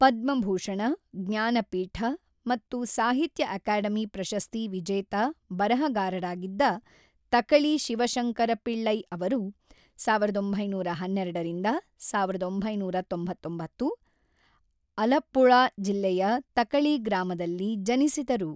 ಪದ್ಮಭೂಷಣ, ಜ್ಞಾನಪೀಠ ಮತ್ತು ಸಾಹಿತ್ಯ ಅಕಾಡೆಮಿ ಪ್ರಶಸ್ತಿ ವಿಜೇತ ಬರಹಗಾರರಾಗಿದ್ದ ತಕಳಿ ಶಿವಶಂಕರ ಪಿಳ್ಳೈ ಅವರು ಸಾವಿರದ ಬಂಬೈನೂರ ಹನ್ನೆರಡು-ಸಾವಿರದ ಒಂಬೈನೂರ ತೊಂಬತ್ತೊಂಬತ್ತು , ಅಲಪ್ಪುಝಾ ಜಿಲ್ಲೆಯ ತಕಳಿ ಗ್ರಾಮದಲ್ಲಿ ಜನಿಸಿದರು.